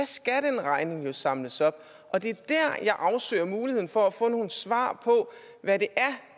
skal den regning jo samles op og det er der jeg afsøger muligheden for at få nogle svar på hvad det